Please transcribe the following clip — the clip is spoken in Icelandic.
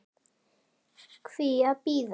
Hví að bíða?